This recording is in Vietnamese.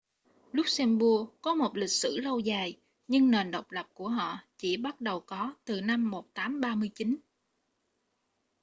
luxembourg có một lịch sử lâu dài nhưng nền độc lập của họ chỉ bắt đầu có từ năm 1839